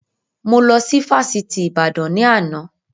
Mo lọ sí Fásitì Ìbàdàn ni àná